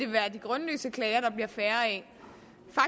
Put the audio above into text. være de grundløse klager der bliver færre af